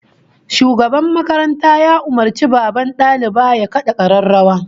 Shugaban makaranta ya umurci babban daliba ya kada kararrawa